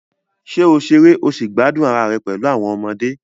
Ṣé o ṣeré o sì gbádùn ara rẹ pẹ̀lú àwọn ọmọdé?